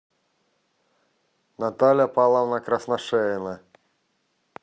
наталья павловна красношеева